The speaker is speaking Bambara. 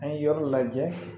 An ye yɔrɔ lajɛ